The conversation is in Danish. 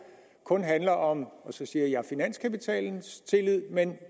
kun handler om og så siger jeg finanskapitalens tillid men